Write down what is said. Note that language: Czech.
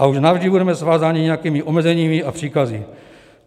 A už navždy budeme svázáni nějakými omezeními a příkazy.